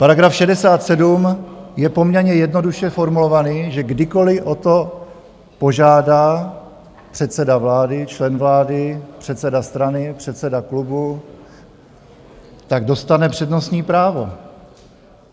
Paragraf 67 je poměrně jednoduše formulovaný, že kdykoliv o to požádá předseda vlády, člen vlády, předseda strany, předseda klubu, tak dostane přednostní právo.